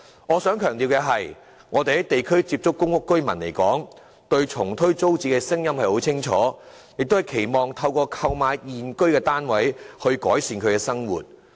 我想強調的是，我們在地區層面接觸過的公屋居民，他們對重推租置計劃的立場是很明確的，期望透過購買現居單位來改善生活。